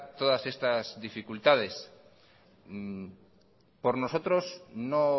todas estas dificultades por nosotros no